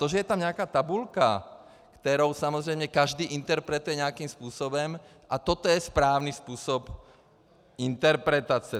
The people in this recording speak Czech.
To, že je tam nějaká tabulka, kterou samozřejmě každý interpretuje nějakým způsobem, a toto je správný způsob interpretace.